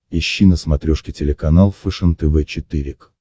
ищи на смотрешке телеканал фэшен тв четыре к